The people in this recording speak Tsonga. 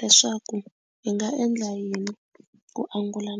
leswaku hi nga endla yini ku angula .